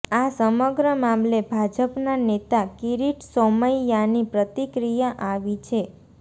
આ સમગ્ર મામલે ભાજપના નેતા કિરીટ સોમૈયાની પ્રતિક્રિયા આવી છે